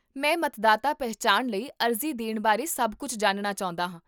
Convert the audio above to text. ਮੈਂ ਮਤਦਾਤਾ ਪਹਿਚਾਣ ਲਈ ਅਰਜ਼ੀ ਦੇਣ ਬਾਰੇ ਸਭ ਕੁੱਝ ਜਾਣਨਾ ਚਾਹੁੰਦਾ ਹਾਂ